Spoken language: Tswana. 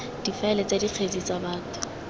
difaele tsa dikgetse tsa batho